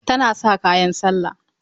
Tana sa kayan sallah.